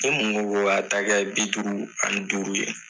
E mun ko a ta kɛ bi duuru ani duuru ye